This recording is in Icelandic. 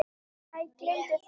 Æ, gleymdu því.